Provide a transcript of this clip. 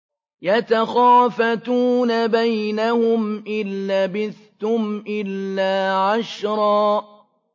يَتَخَافَتُونَ بَيْنَهُمْ إِن لَّبِثْتُمْ إِلَّا عَشْرًا